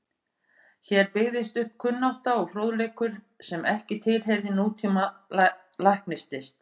Hér byggðist upp kunnátta og fróðleikur sem ekki tilheyrði nútíma læknislist.